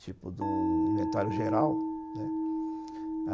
tipo de um inventário geral, né?